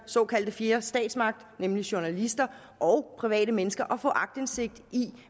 såkaldte fjerde statsmagt nemlig journalister og private mennesker mulighed for at få aktindsigt i